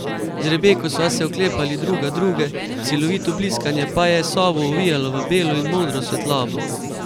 Z Rebeko sva se oklepali druga druge, silovito bliskanje pa je sobo ovijalo v belo in modro svetlobo.